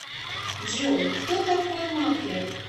джой кто такой маклер